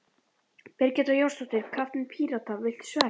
Birgitta Jónsdóttir, kapteinn Pírata: Viltu sverð?